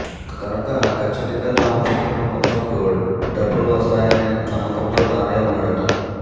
కనుక ఖచ్చితంగా తాము పెట్టిన మొత్తంకు డబుల్ వస్తాయనే నమ్మకంతో దానయ్య ఉన్నాడట